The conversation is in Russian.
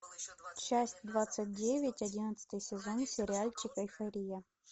часть двадцать девять одиннадцатый сезон сериальчик эйфория